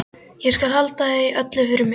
Ég skal halda því öllu fyrir mig.